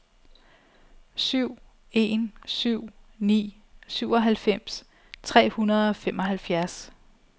syv en syv ni syvoghalvfems tre hundrede og femoghalvfjerds